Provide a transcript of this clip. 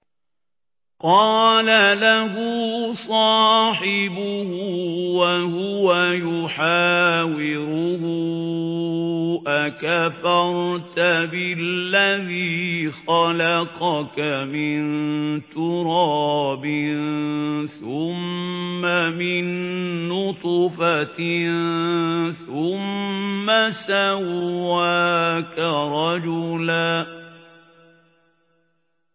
قَالَ لَهُ صَاحِبُهُ وَهُوَ يُحَاوِرُهُ أَكَفَرْتَ بِالَّذِي خَلَقَكَ مِن تُرَابٍ ثُمَّ مِن نُّطْفَةٍ ثُمَّ سَوَّاكَ رَجُلًا